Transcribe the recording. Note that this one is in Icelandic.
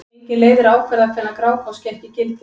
Engin leið er að ákvarða hvenær Grágás gekk í gildi.